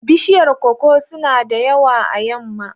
Bishiyar koko suna da yawa a yamma.